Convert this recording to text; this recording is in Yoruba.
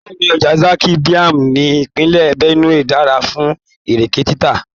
Bẹ́ẹ̀ni, ọjà Zaki Biam ní ìpínlẹ̀ Benue dára fún Ìrèké títà.